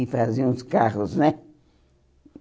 e faziam os carros, né?